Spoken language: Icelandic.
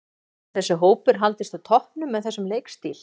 Getur þessi hópur haldist á toppnum með þessum leikstíl?